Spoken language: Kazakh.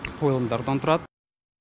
қойылымдардан тұрады